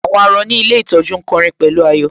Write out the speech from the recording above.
Àwọn àárọ̀ ní ilé ìtọ́jú ń kọ'rin pẹ̀lú ayọ̀